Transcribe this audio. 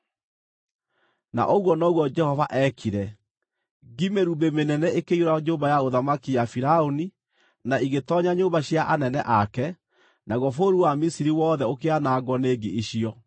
Na ũguo noguo Jehova eekire. Ngi mĩrumbĩ mĩnene ikĩiyũra nyũmba ya ũthamaki ya Firaũni na igĩtoonya nyũmba cia anene ake, naguo bũrũri wa Misiri wothe ũkĩanangwo nĩ ngi icio.